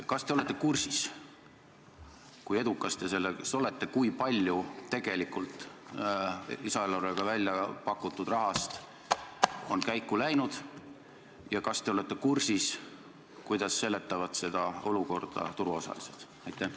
Kas te olete kursis, kui edukas te selles olete, kui palju tegelikult lisaeelarvega väljapakutud rahast on käiku läinud, ja kas te olete kursis, kuidas seletavad seda olukorda turuosalised?